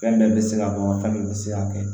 Fɛn bɛɛ bɛ se ka dɔn fɛn min bɛ se ka kɛ